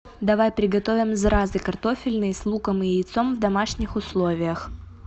давай приготовим зразы картофельные с луком и яйцом в домашних условиях